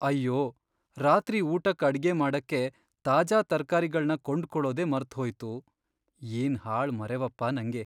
ಅಯ್ಯೋ, ರಾತ್ರಿ ಊಟಕ್ ಅಡ್ಗೆ ಮಾಡಕ್ಕೆ ತಾಜಾ ತರ್ಕಾರಿಗಳ್ನ ಕೊಂಡ್ಕೊಳೋದೇ ಮರ್ತ್ಹೋಯ್ತು, ಏನ್ ಹಾಳ್ ಮರೆವಪ್ಪ ನಂಗೆ.